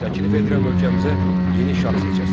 Təklif edirəm ölkəmizə yeni şah seçəsiz.